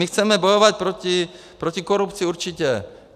My chceme bojovat proti korupci, určitě.